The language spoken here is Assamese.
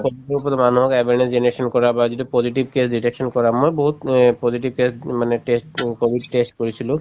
কৰি মানুহক awareness generation কৰা বা যিটো positive case reduction কৰা মই বহুত অ positive test উম মানে test তো কভিড test কৰিছিলো